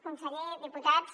conseller diputats